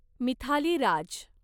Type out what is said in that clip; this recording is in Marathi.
मिथाली राज